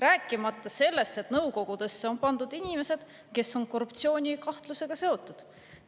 Rääkimata sellest, et nõukogudesse on pandud inimesed, kes on korruptsioonikahtlusega seotud.